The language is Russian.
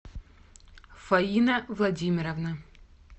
фаина владимировна